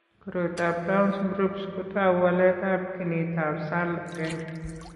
Koroitoab Townes Brocks kotou waletab ginitab SALL 1.